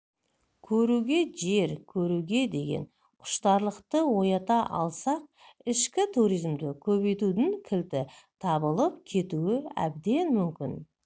көруге жер көруге деген құштарлықты оята алсақ ішкі туризмді көбейтудің кілті табылып кетуі әбден мүмкін